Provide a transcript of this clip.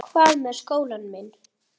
Hvað með skólann minn?